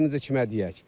Dərdimizi kimə deyək?